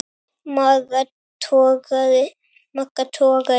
Magga togaði og